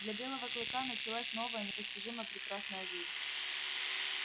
для белого клыка началась новая непостижимо прекрасная жизнь